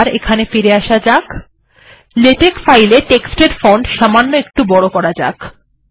001357 000413 এবার এখানে ফিরে আসা যাক এবং লেখার ফন্ট সামান্য একটু বড় করা যাক